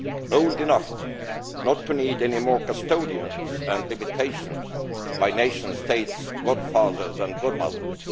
old enough not to need any more custodians and limitations by nation state godfathers and godmothers.